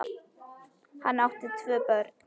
Hann átti tvö börn.